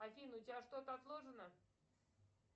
афина у тебя что то отложено